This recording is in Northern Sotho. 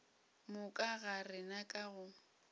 moka ga rena ka go